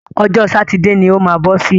Ọjọ́ sátidé ni o má bọ́ sí.